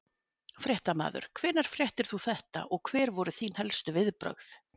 Fréttamaður: Hvenær fréttir þú þetta og hver voru þín helstu viðbrögð?